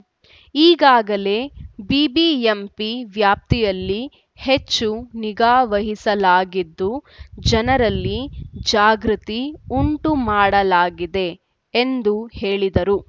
ಈಗಾಗಲೇ ಬಿಬಿಎಂಪಿ ವ್ಯಾಪ್ತಿಯಲ್ಲಿ ಹೆಚ್ಚು ನಿಗಾವಹಿಸಲಾಗಿದ್ದು ಜನರಲ್ಲಿ ಜಾಗೃತಿ ಉಂಟು ಮಾಡಲಾಗಿದೆ ಎಂದು ಹೇಳಿದರು